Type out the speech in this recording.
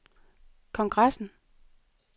kongressen